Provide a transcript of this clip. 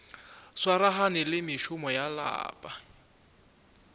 swaragane le mešomo ya lapa